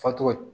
Fatɔ